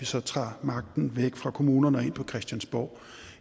så tager magten væk fra kommunerne og ind på christiansborg